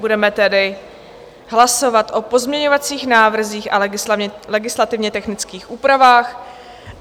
Budeme tedy hlasovat o pozměňovacích návrzích a legislativně technických úpravách.